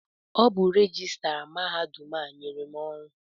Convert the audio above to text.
Ọ bụ rejistra mahadum a nyere m ọrụ a.